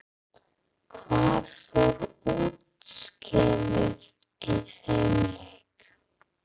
Hvað fór úrskeiðis í þeim leik?